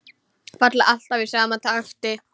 Falla alltaf í sama takti.